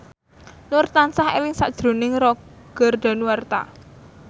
Nur tansah eling sakjroning Roger Danuarta